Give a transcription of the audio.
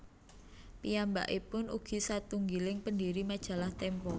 Piyambakipun ugi satunggiling pendiri Majalah Tempo